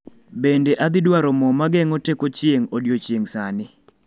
Bende adhi dwaro mo mageng'o teko chieng' odiechieng' sani